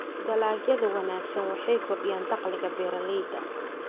Dalagyada wanaagsani waxay kordhiyaan dakhliga beeralayda.